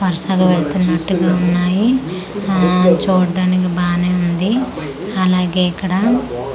వర్సగా వెళ్తున్నట్టుగా ఉన్నాయి ఊ చూడ్డానికి బానే ఉంది అలాగే ఇక్కడ--